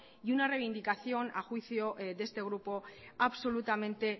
y una reivindicación a juicio de este grupo absolutamente